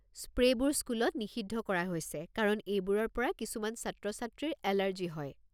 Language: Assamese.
স্প্ৰে'বোৰ স্কুলত নিষিদ্ধ কৰা হৈছে কাৰণ এইবোৰৰ পৰা কিছুমান ছাত্ৰ-ছাত্ৰীৰ এলাৰ্জি হয়।